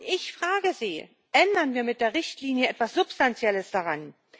Ich frage Sie Ändern wir mit der Richtlinie etwas Substanzielles daran?